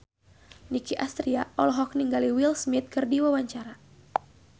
Nicky Astria olohok ningali Will Smith keur diwawancara